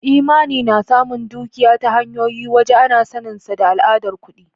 Imani na samun dukiya ta hanyoyin waje ana saninsa da al'adar kuɗi.